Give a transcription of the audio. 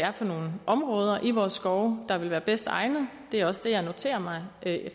er for nogle områder i vores skove der vil være bedst egnet det er også det jeg noterer mig